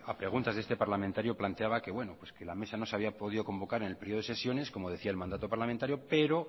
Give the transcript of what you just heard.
preguntas de este parlamentario planteaba que bueno que la mesa no se había podido convocar en el periodo de sesiones como decía el mandato parlamentario pero